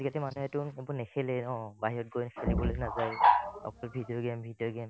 আজিকালি মানুহেটো নেখেলে ন বাহিৰত গৈ খেলিবলে নাযায়ে অকল video game video game